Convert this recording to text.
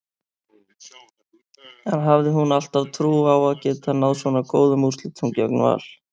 En hafði hún alltaf trú á að geta náð svo góðum úrslitum gegn Val?